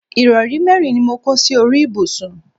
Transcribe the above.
ìrọrí mẹ́rin ni mo kó sí orí ibùsùn